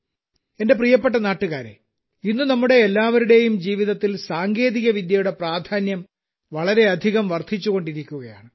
എന്റെ പ്രിയപ്പെട്ട നാട്ടുകാരേ ഇന്ന് നമ്മുടെ എല്ലാവരുടെയും ജീവിതത്തിൽ സാങ്കേതികവിദ്യയുടെ പ്രാധാന്യം വളരെയധികം വർദ്ധിച്ചുകൊണ്ടിരിക്കുകയാണ്